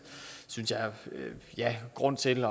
grund til